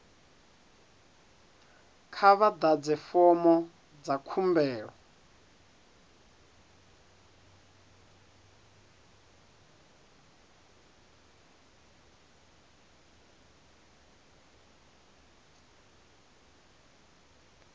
kha vha ḓadze fomo dza khumbelo